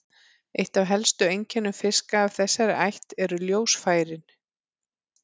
Eitt af helstu einkennum fiska af þessari ætt eru ljósfærin.